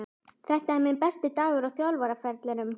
Er þetta minn besti dagur á þjálfaraferlinum?